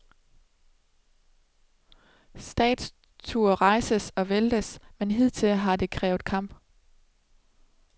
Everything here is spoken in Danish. Statuer rejses og væltes, men hidtil har det krævet kamp.